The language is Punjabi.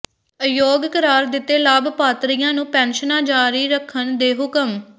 ਅਯੋਗ ਕਰਾਰ ਦਿੱਤੇ ਲਾਭਪਾਤਰੀਆਂ ਨੂੰ ਪੈਨਸ਼ਨਾਂ ਜਾਰੀ ਰੱਖਣ ਦੇ ਹੁਕਮ